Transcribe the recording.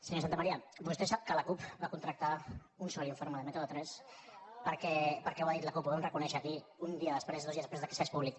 senyor santamaría vostè sap que la cup va contractar un sol informe de método tres perquè ho ha dit la cup ho vam reconèixer aquí un dia després o dos dies després que es fes públic